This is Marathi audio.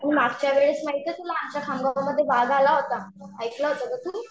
मी मागच्या वेळेस माहितीये तुला आमच्या खामगावमध्ये वाघ आला होता. ऐकलं होतं का तू?